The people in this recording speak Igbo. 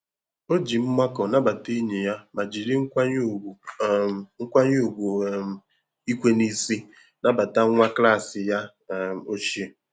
O ji mmakọ nabata enyi ya ma jiri nkwanye ùgwù um nkwanye ùgwù um ikwe n'isi nabata nwa klas ya um ochie.